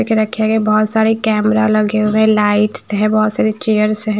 एक रखे गए बहोत सारे कैमरा लगे हुए लाइट्स है बहोत सारी चेयर्स है।